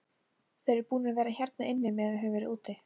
Þeir eru búnir að vera hérna inni meðan við höfum verið úti.